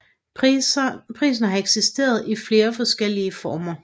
Prisen har eksisteret i flere former